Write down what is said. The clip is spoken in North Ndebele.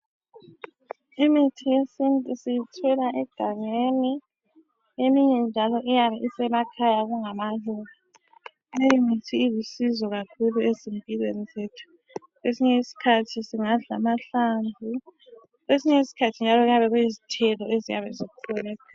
Imithi yesintu siyithola egangeni, eminye njalo iyabe isemakhaya kungamaluba, leyi mithi ilusizo kakhulu ezimpilweni zethu, kwesinye sikhathi singadla amahlamvu ,kwesinye sikhathi kungabe kuyabe kuyizithelo ezikhona.